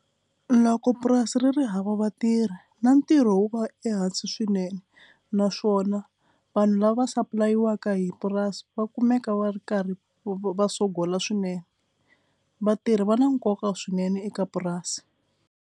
Loko purasi ri ri hava vatirhi na ntirho wu va ehansi swinene naswona vanhu lava sapulayiwaku hi purasi va kumeka va ri karhi va sogola swinene. Vatirhi va na nkoka swinene eka purasi.